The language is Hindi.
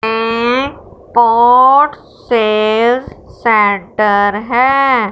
ये पॉट सेल्स सेंटर है।